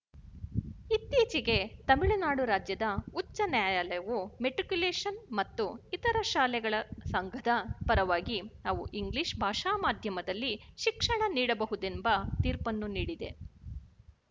ಇತ್ತೀಚೆಗೆ ತಮಿಳುನಾಡು ರಾಜ್ಯದ ಉಚ್ಛ ನ್ಯಾಯಾಲಯವು ಮೆಟ್ರಿಕ್ಯುಲೇಶನ್ ಮತ್ತು ಇತರ ಶಾಲೆಗಳ ಸಂಘದ ಪರವಾಗಿ ಅವು ಇಂಗ್ಲಿಶ ಭಾಷಾ ಮಾಧ್ಯಮದಲ್ಲಿ ಶಿಕ್ಷಣ ನೀಡಬಹುದೆಂಬ ತೀರ್ಪನ್ನು ನೀಡಿದೆ